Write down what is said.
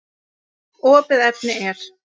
Opið efni er